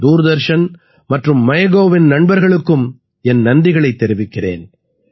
தூர்தர்ஷன் மற்றும் மைகவ் இன் நண்பர்களுக்கும் என் நன்றிகளைத் தெரிவிக்கிறேன்